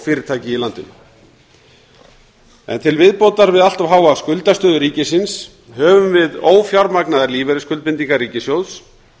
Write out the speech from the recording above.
fyrirtæki í landinu til viðbótar við allt of háa skuldastöðu ríkisins höfum við ófjármagnaðar lífeyrisskuldbindingar ríkissjóðs